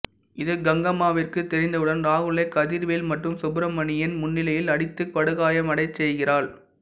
இது கங்கம்மாவிற்கு தெரிந்தவுடன் ராகுலை கதிர்வேல் மற்றும் சுப்பிரமணியின் முன்னிலையில் அடித்து படுகாயமடையச் செய்கிறாள்